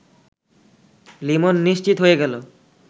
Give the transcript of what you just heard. লিমন নিশ্চিত হয়ে গেল